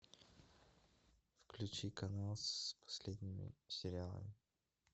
включи канал с последними сериалами